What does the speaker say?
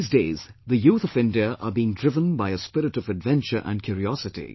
These days the youth of India are being driven by a spirit of adventure and curiosity